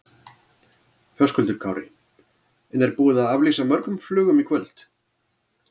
Höskuldur Kári: En er búið að aflýsa mörgum flugum í kvöld?